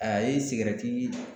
A ye